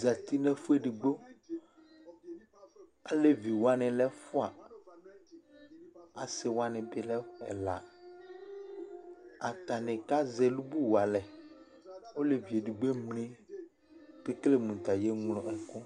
zãti nu ɛfuɛɖigbo Aleʋi waní lɛ ɛfua Asi waní bi lɛ ɛla Atani kazɛ ɛlubu wa alɛ Oleʋi eɖigbo emli, ku ekele mu ta ye ɣlo ɛku